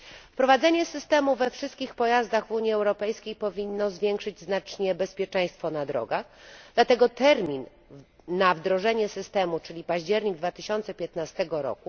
Wprowadzenie systemu we wszystkich pojazdach w Unii Europejskiej powinno znacznie zwiększyć bezpieczeństwo na drogach, dlatego termin wdrożenia systemu, czyli październik 2015 r.,